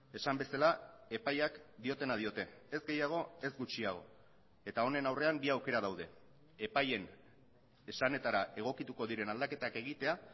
esan bezala epaiak diotena diote ez gehiago ez gutxiago eta honen aurrean bi aukera daude epaien esanetara egokituko diren aldaketak egitea